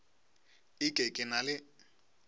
e ke ke na le